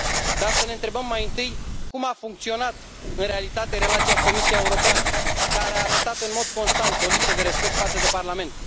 Dar să ne întrebăm mai întâi cum a funcționat în realitate relația cu Comisia Europeană, care a arătat în mod constant o lipsă de respect față de Parlament.